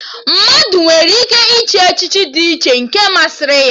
Mmadụ nwere ike ịchị echichi dị iche nke masịrị ya